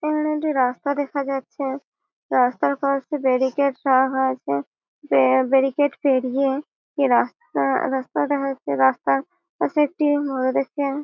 এখানে একটি রাস্তা দেখা যাচ্ছে। রাস্তার পাশে ব্যারিকেড রাখা হয়েছে বে ব্যারিকেড পেরিয়ে রাস্তা রাস্তা দেখা যাচ্ছে রাস্তার কাছে একটি দেখতে।